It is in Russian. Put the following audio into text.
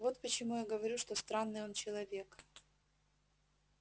вот почему я говорю что странный он человек